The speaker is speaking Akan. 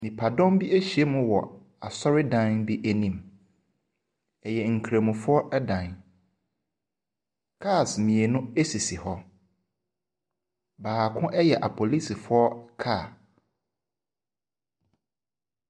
Nniadɔm b ahyiam wɔ asɔre dan bi anim. Ɛyɛ nkramofo dan. Cars mmienu esisi hɔ. Baako yɛ yɛ apolisifo car.